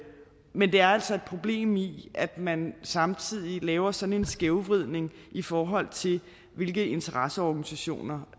men der er altså et problem i at man samtidig laver sådan en skævvridning i forhold til hvilke interesseorganisationer